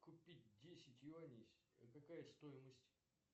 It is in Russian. купить десять юаней какая стоимость